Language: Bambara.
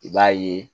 I b'a ye